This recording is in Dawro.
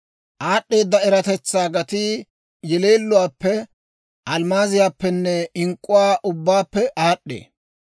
Aad'd'eeda eratetsaa gatii yeleeluwaappe, almmaaziyaappenne ink'k'uwaa ubbaappe aad'd'ee.